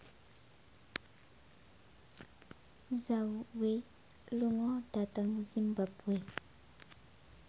Zhao Wei lunga dhateng zimbabwe